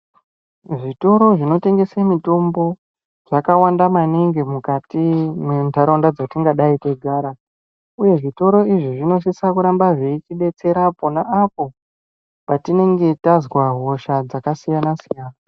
Zvitoro zvinotengese mitombo zvakawanda maningi mukati mwenharaunda dzatingadai teigara uye zvitoro izvi zvinosise kuramba zveitibetsera pona apo patinenge tazwa hosha dzakasiyanasiyana.